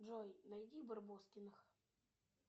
джой найди барбоскиных